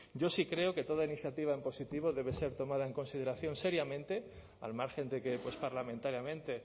yo sí creo que toda iniciativa en positivo debe ser tomada en consideración seriamente al margen de que parlamentariamente